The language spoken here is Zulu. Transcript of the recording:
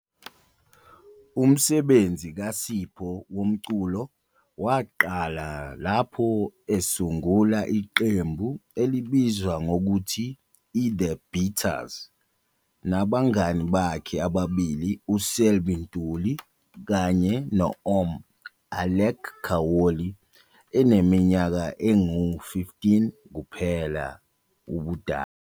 Umsebenzi kaSipho womculo waqala lapho esungula iqembu elibizwa ngokuthi iThe Beaters nabangane bakhe ababili uSelby Ntuli kanye no-"Om" Alec Khaoli, eneminyaka engu-15 kuphela ubudala.